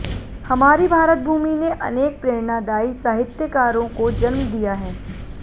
हमारी भारतभूमि ने अनेक प्रेरणादायी साहित्यकारों को जन्म दिया है